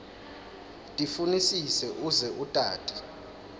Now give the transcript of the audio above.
tifunisise uze utati